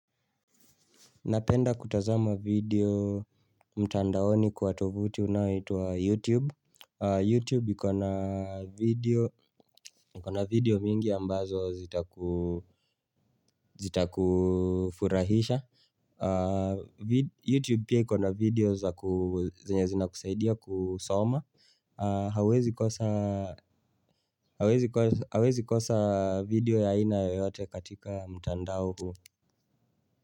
Napenda kutazama video mtandaoni kwa tovuti unao itwa YouTube YouTube ykona video mingi ambazo zita kufurahisha YouTube pia ikona na video za nye zina kusaidia kusoma hawezi kosa video ya aina yote katika mtandao huu.